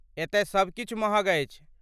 एतय सबकिछु महग अछि।